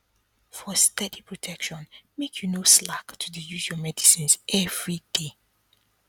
for steady protection make you no slack to dey use your medicines everyday